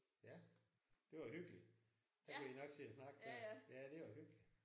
Ja det var hyggeligt. Så kunne I nok sidde og snakke der. Ja det var hyggeligt